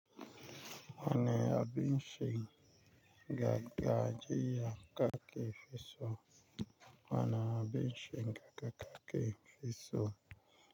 Wani abin shiri ga gaji ya kaka kifiso. Wani abin cin ga kaka kifiso.